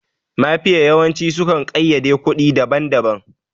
Mafiya yawanci su kan ƙayyade kuɗi daban daban